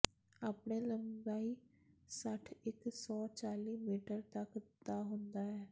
ਆਪਣੇ ਲੰਬਾਈ ਸੱਠ ਇੱਕ ਸੌ ਚਾਲੀ ਮੀਟਰ ਤੱਕ ਦਾ ਹੁੰਦਾ ਹੈ